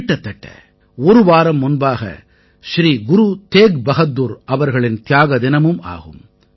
கிட்டத்தட்ட ஒரு வாரம் முன்பாக ஸ்ரீ குரு தேக் பஹாதுர் அவர்களின் தியாக தினமும் ஆகும்